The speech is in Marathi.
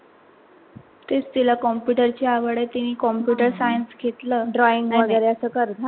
तेच तिला computer ची आवड आहे तिनी computerscience घेतल drawing वगैरे अस कर